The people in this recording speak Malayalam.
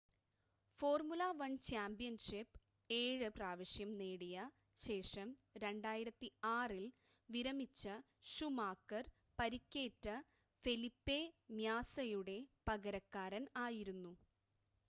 ഫോർമുല 1 ചാമ്പ്യൻഷിപ്പ് 7 പ്രാവശ്യം നേടിയ ശേഷം 2006 ൽ വിരമിച്ച ഷൂമാക്കർ പരിക്കേറ്റ ഫെലിപ്പെ മ്യാസയുടെ പകരക്കാരൻ ആയിരുന്നു